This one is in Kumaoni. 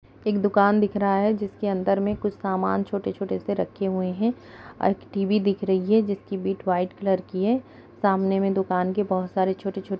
एक दुकान दिख रहा है जिसके अंदर मे सामान कुछ छोटे-छोटे से रखे हुए हैं और एक टीवी दिख रही है जिसकी बीट व्हाइट कलर की है सामने में दुकान के बहोत सारे छोटे-छो--